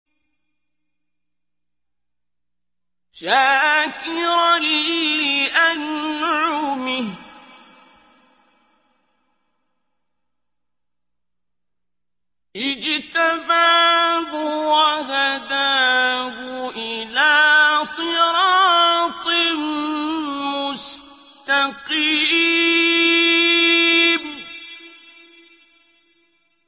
شَاكِرًا لِّأَنْعُمِهِ ۚ اجْتَبَاهُ وَهَدَاهُ إِلَىٰ صِرَاطٍ مُّسْتَقِيمٍ